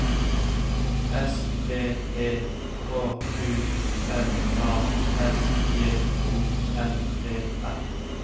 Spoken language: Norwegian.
S P E K U L A S J O N E R